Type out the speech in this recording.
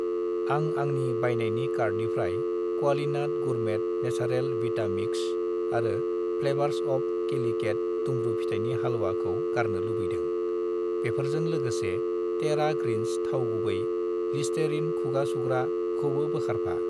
आं आंनि बायनायनि कार्टनिफ्राय क्वालिनाट गुरमेट नेसारेल विटा मिक्स आरो फ्लेवार्स अफ केलिकेट दुम्रु फिथाइनि हालवा खौ गारनो लुबैदों। बेफोरजों लोगोसे तेरा ग्रिन्स थाव गुबै , लिस्टेरिन खुगा सुग्रा खौबो बोखारफा।